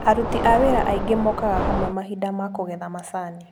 Aruti a wĩra aingĩ mokaga hamwe mahinda ma kũgetha macani.